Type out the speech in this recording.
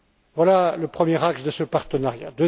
Voilà le premier acte de ce partenariat.